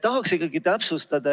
Tahaksin ikkagi täpsustada.